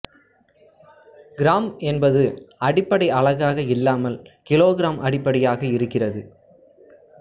gram என்பது அடிப்படை அலகாக இல்லாமல் கிலோகிராம் அடிப்படையாக இருக்கிறது